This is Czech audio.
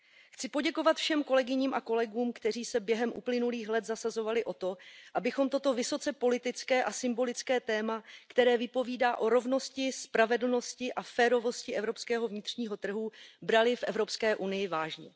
Chci poděkovat všem kolegyním a kolegům, kteří se během uplynulých let zasazovali o to, abychom toto vysoce politické a symbolické téma, které vypovídá o rovnosti, spravedlnosti a férovosti evropského vnitřního trhu, brali v Evropské unii vážně.